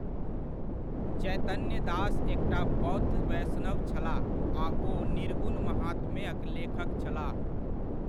चैतन्य दास एकटा बौद्ध वैष्णव छलाह आ ओ निर्गुण महात्म्यक लेखक छलाह।